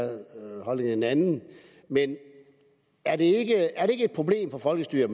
en anden men er det ikke et problem for folkestyret